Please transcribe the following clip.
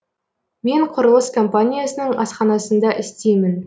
мен құрылыс компаниясының асханасында істеймін